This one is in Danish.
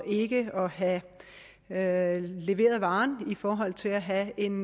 ikke at have leveret varen i forhold til at have en